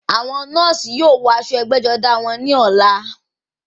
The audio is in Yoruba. Àwọn nọ́ọ̀sì náà yóò wọ aṣọ ẹgbẹ́-jọdá wọn ní ọ̀la.